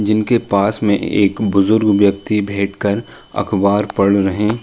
जिनके पास मे एक बुजुर्ग व्यक्ति भेट कर अखबार पढ़ रहे --